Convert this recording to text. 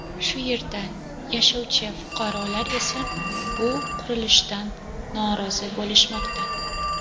Shu yerda yashovchi fuqarolar esa bu qurilishdan norozi bo‘lishmoqda.